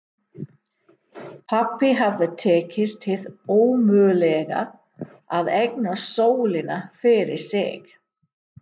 Pabba hafði tekist hið ómögulega: að eignast sólina fyrir sig.